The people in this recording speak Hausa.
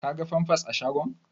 Ka ga famfas a shagon?